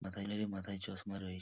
মাথার মাথায় চশমা রয়ে --